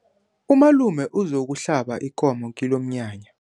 Umalume uzokuhlaba ikomo kilomnyanya.